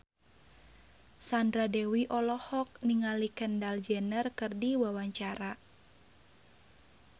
Sandra Dewi olohok ningali Kendall Jenner keur diwawancara